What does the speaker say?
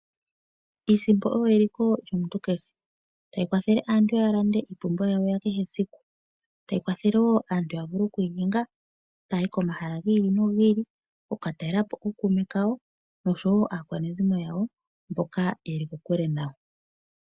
Iisimpo oyo eliko lyomuntu kehe, tayi kwathele aantu ya lande oompumbwe dhawo dhakehe siku, tayi kwathele wo aantu ya vule okwiinyenga taya yi komahala giili nogiili, okuka talela po ookuume kawo nosho wo aakwanezimo mboka ye li kokule nayo.